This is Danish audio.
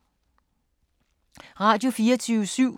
Radio24syv